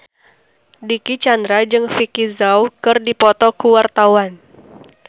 Dicky Chandra jeung Vicki Zao keur dipoto ku wartawan